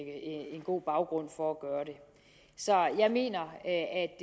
en god baggrund for at gøre det så jeg mener at